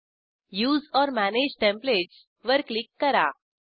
उसे ओर manage templates वर click करा